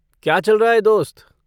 क्या चल रहा है दोस्त?